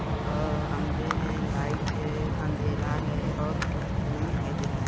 और खंबे है लाइट है अंधेरा है और कुछ कुछ--